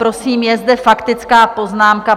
Prosím, je zde faktická poznámka.